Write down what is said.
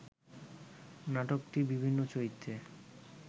নাটকটির বিভিন্ন চরিত্রে